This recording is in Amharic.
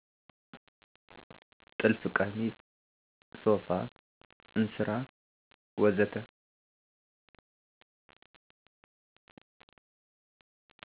ጥልፍ ቀሚስ፣ ሶፋ፣ እንስራ ወዘተ